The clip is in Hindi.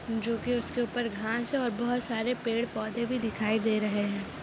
जो कि उसके ऊपर घांस है और बहुत सरे पेड़ पौधे भी दिखाई दे रहे हैं।